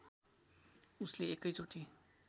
उसले एकै चोटी